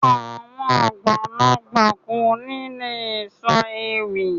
Àwọn àgbàlagbà kò ní lè sọ ewì